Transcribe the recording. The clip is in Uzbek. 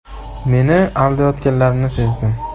Meni aldayotganlarini sezdim.